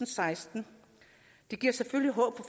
seksten det giver selvfølgelig håb